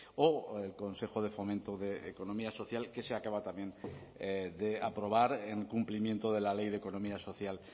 o el consejo de fomento de economía social que se acaba también de aprobar en cumplimiento de la ley de economía social